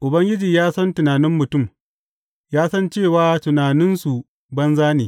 Ubangiji ya san tunanin mutum; ya san cewa tunaninsu banza ne.